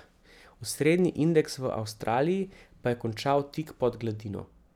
Osrednji indeks v Avstraliji pa je končal tik pod gladino.